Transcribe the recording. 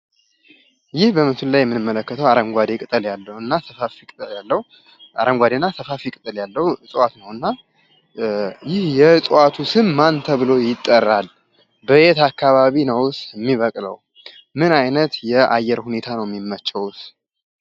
ይህ በምስሉ ላይ የምንመለከተው አረንጓዴ ቅጠል ያለው እና ሰፋፊ ቅጠል ያለው እፅዋት ነው እና ይህ የእፅዋቱ ስም ማን ተብሎ ይጠራል? በየት አከባቢስ ነው የሚበቅው? ምን አይነት የአየር ሁኔታ ነው የሚመቼውስ?